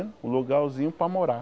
Um lugarzinho para morar.